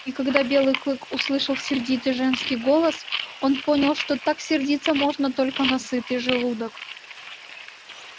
и когда белый клык услышал сердитый женский голос он понял что так сердиться можно только на сытый желудок